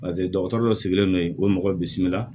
Paseke dɔgɔtɔrɔ dɔ sigilen don yen o ye mɔgɔ bisimila